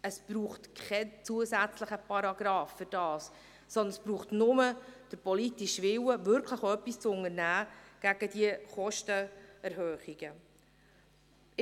Es braucht dafür keinen zusätzlichen Paragrafen, sondern nur den politischen Willen, wirklich etwas gegen diese Kostenerhöhungen zu unternehmen.